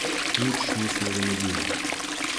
Nič nismo zamudili.